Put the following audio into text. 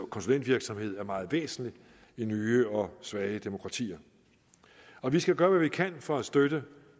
konsulentvirksomhed er meget væsentlig i nye og svage demokratier vi skal gøre hvad vi kan for at støtte